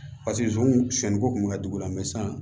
Paseke zonzan siɲɛnniko kun mi ka dugu la san yan